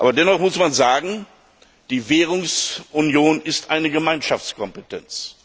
Dennoch muss man sagen, die Währungsunion ist eine Gemeinschaftskompetenz.